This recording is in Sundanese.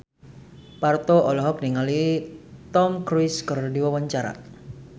Parto olohok ningali Tom Cruise keur diwawancara